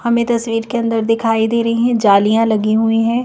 हमें तस्वीर के अंदर दिखाई दे रही हैं जालियां लगी हुई है।